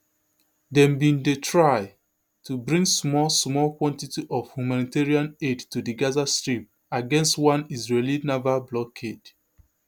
dem bin dey try to bring small small quantity of humanitarian aid to di gaza strip against one israeli naval blockade